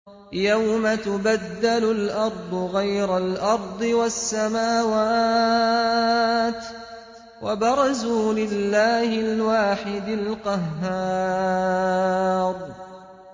يَوْمَ تُبَدَّلُ الْأَرْضُ غَيْرَ الْأَرْضِ وَالسَّمَاوَاتُ ۖ وَبَرَزُوا لِلَّهِ الْوَاحِدِ الْقَهَّارِ